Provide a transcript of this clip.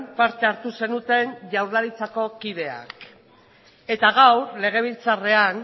parte hartu zenuten jaurlaritzako kideek eta gaur legebiltzarrean